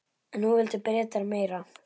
En nú vildu Bretar meira.